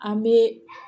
An bɛ